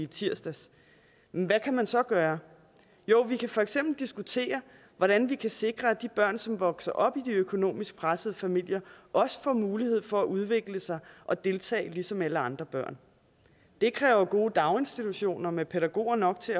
tirsdags men hvad kan man så gøre jo vi kan for eksempel diskutere hvordan vi kan sikre at de børn som vokser op i de økonomisk pressede familier også får mulighed for at udvikle sig og deltage ligesom alle andre børn det kræver gode daginstitutioner med pædagoger nok til